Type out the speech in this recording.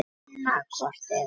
Annað hvort eða.